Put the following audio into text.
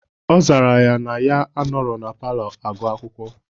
Ọ zara ya na ya anọrọ na palọ agụ akwụkwọ.